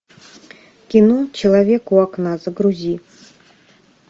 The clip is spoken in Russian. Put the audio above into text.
кино человек у окна загрузи